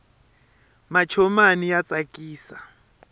mancomani ya tsakisa